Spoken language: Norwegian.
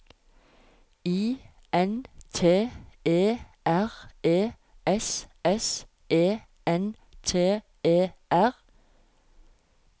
I N T E R E S S E N T E R